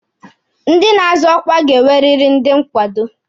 Ndị na-azọ ọkwa ga-enweriri ndị nkwado.